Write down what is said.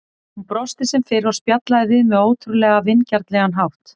Hún brosti sem fyrr og spjallaði við mig á ótrúlega vingjarnlegan hátt.